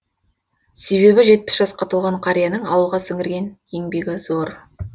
себебі жетпіс жасқа толған қарияның ауылға сіңірген еңбегі зор